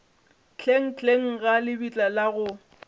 hlenghleng ga lebitla la go